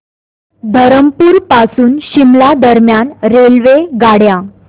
धरमपुर पासून शिमला दरम्यान रेल्वेगाड्या